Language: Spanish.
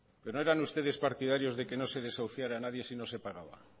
no eran ustedes partidarios de que no se desahuciara a nadie si no se pagaba